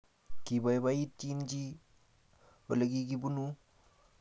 Kibaibaitynchini olekikibunuu